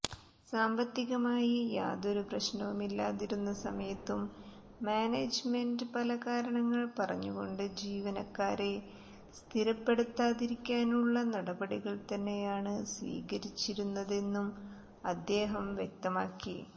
സാമ്പത്തികമായി യാതൊരു പ്രശ്നവുമില്ലാതിരുന്ന സമയത്തും മാനേജ്മെന്റ് പല കാരണങ്ങൾ പറഞ്ഞുകൊണ്ട് ജീവനക്കാരെ സ്ഥിരപ്പെടുത്താതിരിക്കാനുള്ള നടപടികൾ തന്നെയാണ് സ്വീകരിച്ചിരുന്നതെന്നും അദ്ദേഹം വ്യക്തമാക്കി